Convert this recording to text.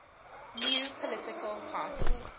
new political party